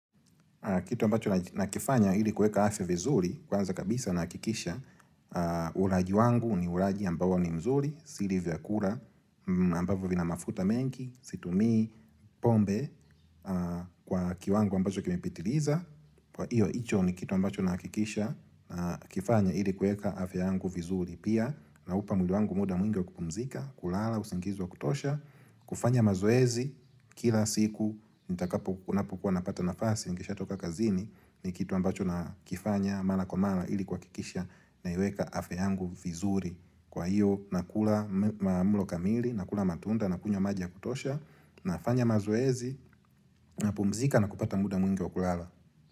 Kitu ambacho nakifanya ili kueka afya vizuri, kwanza kabisa nahakikisha, ulaji wangu ni ulaji ambao ni mzuri, siri za kura, ambavo vina mafuta mengi, situmi, pombe kwa kiwangu ambacho kimepitiliza. Kwa hiyo, icho ni kitu ambacho nahakikisha na kifanya ili kueka afya yangu vizuri Pia, na upa mwili wangu muda mwingi wa kupumzika, kulala, usingiz wa kutosha kufanya mazoezi, kila siku, nitakapo napukua napata nafasi, nikisha toka kazini ni kitu ambacho nakifanya, mara kwa mara ili kwa kikisha na iweka afya yangu vizuri Kwa hiyo, nakula mulo kamili, nakula matunda, nakunywa maji ya kutosha na fanya mazoezi, na pumzika na kupata muda mwingi wa kulala.